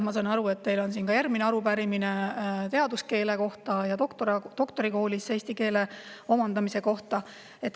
Ma saan aru, et teil on järgmine arupärimine teaduskeele kohta ja doktorikoolis eesti keele omandamise kohta.